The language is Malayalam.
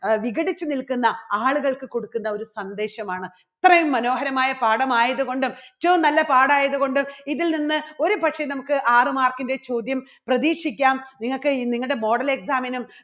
അഹ് വിഘടിച്ച് നിൽക്കുന്ന ആളുകൾക്ക് കൊടുക്കുന്ന ഒരു സന്ദേശമാണ്. ഇത്രയും മനോഹരമായ പാഠമായതുകൊണ്ടും ഏറ്റവും നല്ല പാഠായതുകൊണ്ടും ഇതിൽനിന്ന് ഒരുപക്ഷേ നമുക്ക് ആറ് mark ൻറെ ചോദ്യം പ്രതീക്ഷിക്കാം നിങ്ങൾക്ക് നിങ്ങളുടെ model exam നും